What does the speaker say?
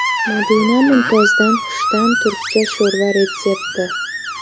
Madina Mumtozdan xushta’m turkcha sho‘rva retsepti .